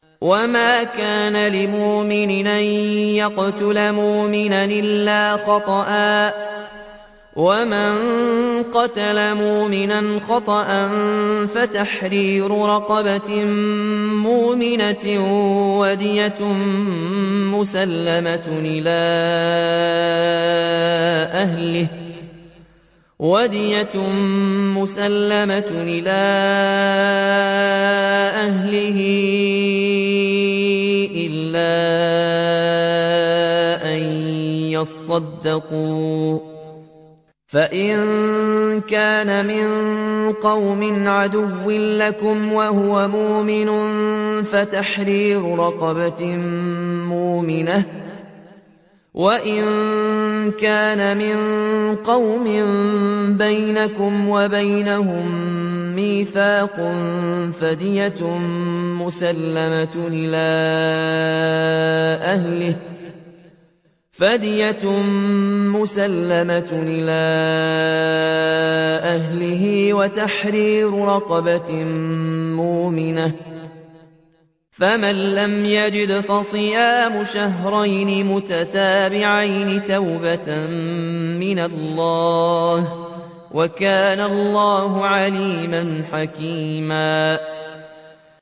وَمَا كَانَ لِمُؤْمِنٍ أَن يَقْتُلَ مُؤْمِنًا إِلَّا خَطَأً ۚ وَمَن قَتَلَ مُؤْمِنًا خَطَأً فَتَحْرِيرُ رَقَبَةٍ مُّؤْمِنَةٍ وَدِيَةٌ مُّسَلَّمَةٌ إِلَىٰ أَهْلِهِ إِلَّا أَن يَصَّدَّقُوا ۚ فَإِن كَانَ مِن قَوْمٍ عَدُوٍّ لَّكُمْ وَهُوَ مُؤْمِنٌ فَتَحْرِيرُ رَقَبَةٍ مُّؤْمِنَةٍ ۖ وَإِن كَانَ مِن قَوْمٍ بَيْنَكُمْ وَبَيْنَهُم مِّيثَاقٌ فَدِيَةٌ مُّسَلَّمَةٌ إِلَىٰ أَهْلِهِ وَتَحْرِيرُ رَقَبَةٍ مُّؤْمِنَةٍ ۖ فَمَن لَّمْ يَجِدْ فَصِيَامُ شَهْرَيْنِ مُتَتَابِعَيْنِ تَوْبَةً مِّنَ اللَّهِ ۗ وَكَانَ اللَّهُ عَلِيمًا حَكِيمًا